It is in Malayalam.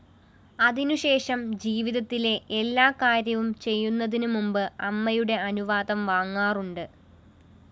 അതിനുശേഷം ജീവിതത്തിലെ എല്ലാ കാര്യവും ചെയ്യന്നതിനുമുമ്പ് അമ്മയുടെ അനുവാദം വാങ്ങാറുണ്ട്